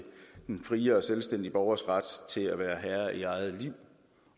den frie og selvstændige borgers ret til at være herre i eget liv